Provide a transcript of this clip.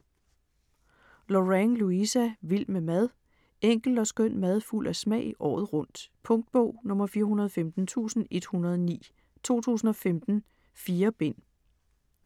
Lorang, Louisa: Vild med mad Enkel og skøn mad fuld af smag – året rundt. Punktbog 415109 2015. 4 bind.